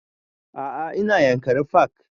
A'a ina yankari park